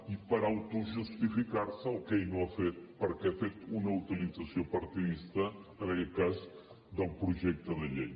i per autojustificar se el que ell no ha fet perquè ha fet una utilització partidista en aquest cas del projecte de llei